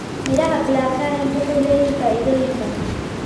Midhaha blackcurrant waxay leeyihiin faa'iidooyin badan.